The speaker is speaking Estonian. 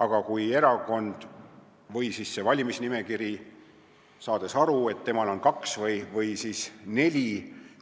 Samas kui erakond või valimisliit on aru saanud, et talle on kaks või siis neli